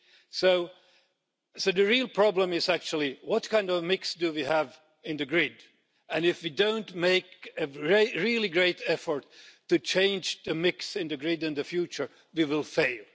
So, the real problem is actually what kind of mix we have in the grid and if we don't make a really great effort to change the mix in the grid in the future, we will fail.